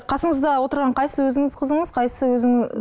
қасыңызда отырған қайсысы өзіңіздің қызыңыз қайсысы